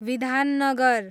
Bidhannagar